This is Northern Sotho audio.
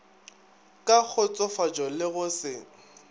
ka kgotsofatšo le go se